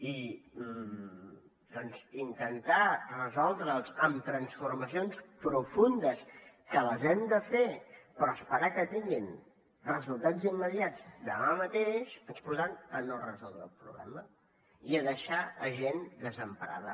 i doncs intentar resoldre amb transformacions profundes que les hem de fer però esperar que tinguin resultats immediats demà mateix ens portarà a no resoldre el problema i a deixar gent desemparada